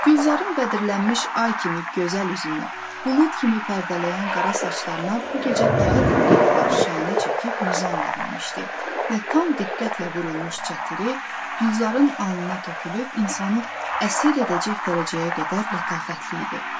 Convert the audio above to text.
Gülzarın bədirlənmiş ay kimi gözəl üzünü bulud kimi pərdələyən qara saçlarına bu gecə daha diqqətlə şanə çəkib nizam verilmişdi və tam diqqətlə vurulmuş çətiri Gülzarın alnına tökülüb insanı əsir edəcək dərəcəyə qədər lətafətli idi.